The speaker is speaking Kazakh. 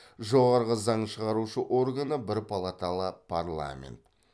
жоғарғы заң шығарушы органы бір палаталы парламент